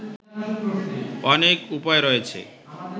অনেক উপায় রয়েছে